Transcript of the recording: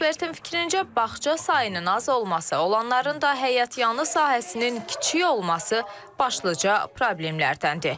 Ekspertin fikrincə, bağça sayının az olması, olanların da həyətyanı sahəsinin kiçik olması başlıca problemlərdəndir.